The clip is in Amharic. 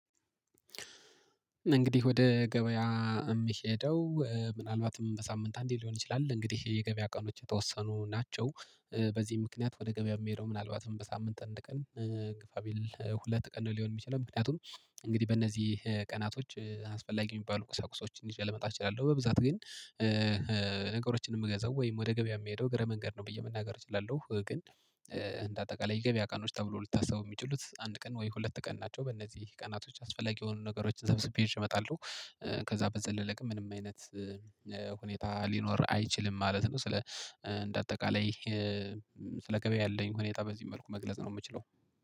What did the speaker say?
እንግዲህ ወደ ገበያ የምሄደው ምናልባትም በሳምንት አንዴ ሊሆን ይችላል እንግዲህ የገበያ ቀኖች የተወሰኑ ናቸው በዚህ ምክንያት ወደ ገበያ የሚሄደው ምናልባትም በሳምንት አንድ ቀን። ግፋቢል ሁለት ቀን ሊሆን የሚችለው ምክንያቱም እንግዲህ በእነዚህ ቀናቶች አስፈላጊ የሚባሉ ቁሳቁሶችን ይጀ ልመጣ እችላለሉ በብዛት ግን። ነገሮችን የምገዛው ወይም ወደ ገበያ የምሄደው እግረ መንገድ ነው ብየ መናገር እችላለሁ ግን። አጠቃላይ የገበያ ቀኖች ተብሎ ሊታሰቡ የሚችሉት አንድ ቀን ወይ ሁለት ቀን ናቸው። በእነዚህ ቀናቶች አስፈላጊ የሆኑ ነገሮችን ሰብስቤ እመጣለሁ። ከዛ በዘለለ ግን ምንም አይነት ሁኔታ ሊኖር አይችልም ማለት ነው። ስለ እንደ አጠቃላይ ስለ ገበያ ያለኝ ሁኔታ በዚህ መልኩ መግለጽ ነው የምችለው።